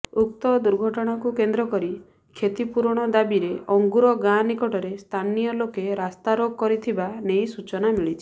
ଉକ୍ତ ଦୁର୍ଘଟଣାକୁ କେନ୍ଦ୍ରକରି କ୍ଷତିପୂରଣ ଦାବିରେ ଅଙ୍ଗୁର ଗାଁ ନିକଟରେ ସ୍ଥାନୀୟଲୋକେ ରାସ୍ତାରୋକ କରିଥିବା ନେଇ ସୂଚନା ମିଳିଛି